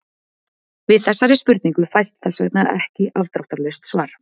Við þessari spurningu fæst þess vegna ekki afdráttarlaust svar.